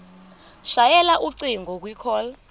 shayela ucingo kwicall